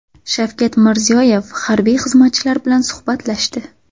Shavkat Mirziyoyev harbiy xizmatchilar bilan suhbatlashdi.